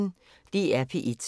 DR P1